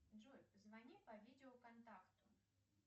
джой позвони по видео контакту